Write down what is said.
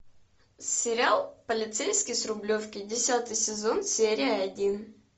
сериал полицейский с рублевки десятый сезон серия один